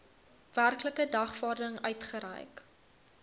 werklike dagvaarding uitgereik